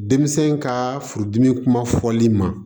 Denmisɛn ka furudimi kuma fɔli ma